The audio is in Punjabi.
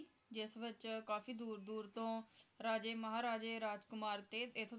ਜਿਸ ਵਿੱਚ ਕਾਫੀ ਦੂਰ ਦੂਰ ਤੋਂ ਰਾਜੇ, ਮਹਾਰਾਜੇ, ਤੇ ਰਾਜ ਕੁਮਾਰ ਤੇ